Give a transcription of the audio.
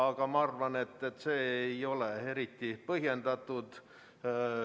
Aga ma arvan, et see ei ole eriti põhjendatud.